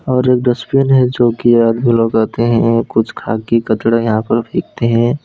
और एक डस्टबिन है जोकि आदमी लोग आते है कुछ खा के कचड़ा यहां फेंकते है।